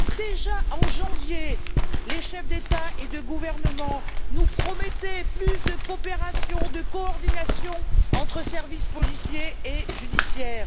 Déjà en janvier, les chefs d'État et de gouvernement nous promettaient plus de coopération, de coordination entre services policiers et judiciaires.